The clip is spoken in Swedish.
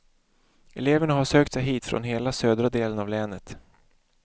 Eleverna har sökt sig hit från hela södra delen av länet.